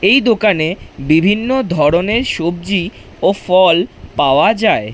এই দোকানে বিভিন্ন ধরনের সবজি ও ফল পাওয়া যায়।